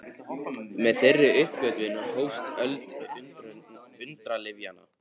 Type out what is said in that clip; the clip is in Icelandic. Með þeirri uppgötvun hófst öld undralyfjanna.